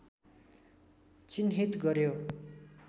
चिह्नित गर्‍यो